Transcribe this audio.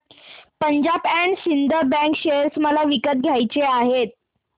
Punjab and Sind bank share मला विकत घ्यायचे आहेत